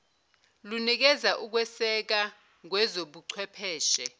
lunikeza ukweseka ngezobuchwepheshe